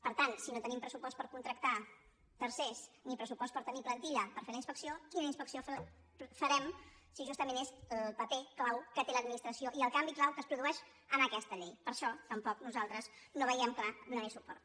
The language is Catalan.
per tant si no tenim pressupost per contractar tercers ni pressupost per tenir plantilla per fer la inspecció quina inspecció farem si justament és el paper clau que té l’administració i el canvi clau que es produeix en aquesta llei per això tampoc nosaltres no veiem clar donar hi suport